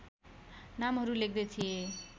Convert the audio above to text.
नामहरू लेख्दै थिएँ